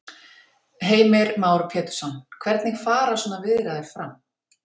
Heimir Már Pétursson: Hvernig fara svona viðræður fram?